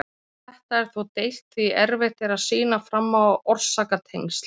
Um þetta er þó deilt því að erfitt er að sýna fram á orsakatengsl.